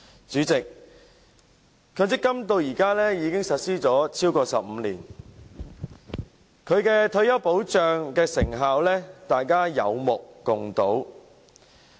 主席，強積金至今已實施超過15年，其保障退休的成效，大家心中有數。